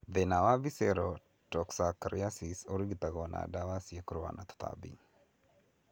Thina wa Visceral toxocariasis urigitagwo na ndawa cia kũrũa na tũtambi